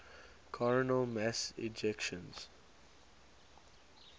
coronal mass ejections